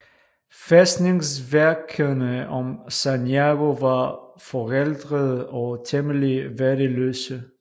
Fæstningsværkerne om Sanjago var forældede og temmelig værdiløse